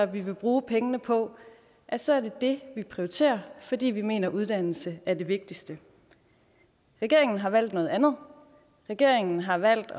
vi vil bruge pengene på så er det det vi prioriterer fordi vi mener at uddannelse er det vigtigste regeringen har valgt noget andet regeringen har valgt